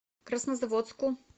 краснозаводску